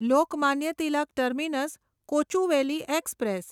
Lokmanya Tilak terminus Kochuveli express